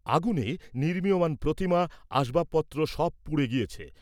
আগুনে, নির্মীয়মাণ প্রতিমা, আসবাসপত্র, সব পুড়ে গেছে।